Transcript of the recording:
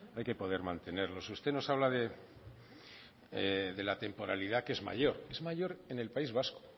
hay que poder mantenerlos usted nos habla de la temporalidad que es mayor es mayor en el país vasco